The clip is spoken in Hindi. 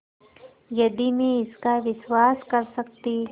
यदि मैं इसका विश्वास कर सकती